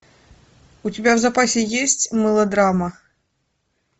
у тебя в запасе есть мылодрама